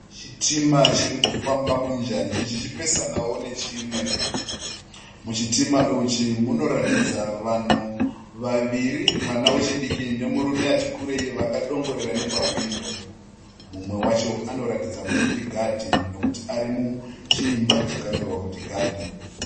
Chitima chirikufamba munjanji chichipesanawo nechimwe. Muchitima ichi munoratidza vanhu vaviri, mwana wechidiki nemurume ati kurei vakadongorera nepahwindo. Mumwe wacho anoratidza kuti ndigadhi nekuti ari muchiimba chakanyorwa kuti gadhi